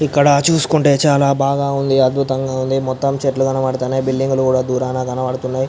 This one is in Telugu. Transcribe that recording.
ఇక్కడ చూస్కుంటే చానా బాగా ఉంది అద్భుతంగా ఉంది మొత్తం చెట్లు కనబడుతున్నాయి బిల్డింగ్ కూడా దూరం కనబడుతున్నాయి.